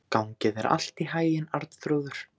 Gangi þér allt í haginn, Arnþrúður.